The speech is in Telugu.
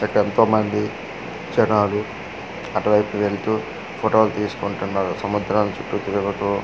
ఇక ఎంతో మంది జనాలు అటువైపు వెళ్తూ ఫోటోలు తీసుకుంటున్నారు సముద్రాల చుట్టూ తిరుగుతూ.